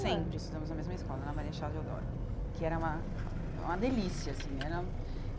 Sempre estudamos na mesma escola, na Marechal Deodoro que era uma uma delícia, assim era.